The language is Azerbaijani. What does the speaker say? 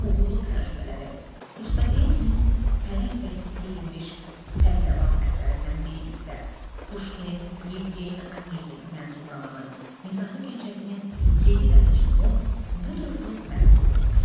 Uğurlu tərcümələri Rustavelinin pərəng dərisi geyinmiş pəhləvan əsərindən bir hissə, Puşkinin Yevgeniy Annyegin mənzum romanı, Nizami Gəncəvinin Leyli və Məcnunu bu dövrün məhsuludur.